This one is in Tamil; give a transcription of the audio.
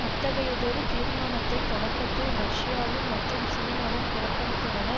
அத்தகையதொரு தீர்மானத்தை தொடக்கத்தில் ரஷ்யாவும் மற்றும் சீனாவும் புறக்கணித்தன